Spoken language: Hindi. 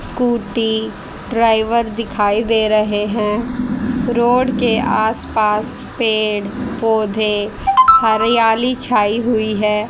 स्कूटी ड्राइवर दिखाई दे रहे हैं रोड के आसपास पेड़ पौधे हरियाली छाई हुई है।